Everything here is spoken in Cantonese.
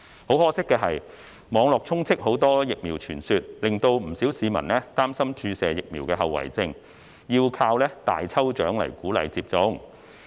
很可惜的是，網絡充斥很多疫苗傳說，令不少市民擔心注射疫苗的後遺症，要依靠大抽獎來鼓勵接種。